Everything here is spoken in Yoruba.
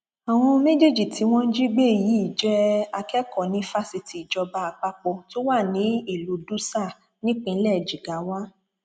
àwọn méjèèjì tí wọn jí gbé yìí jẹ akẹkọọ ní fásitì ìjọba àpapọ tó wà ní ìlú dutsa nípínlẹ jigawa